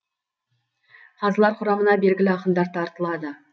қазылар құрамына белгілі ақындар тартылады